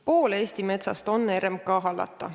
Pool Eesti metsast on RMK hallata.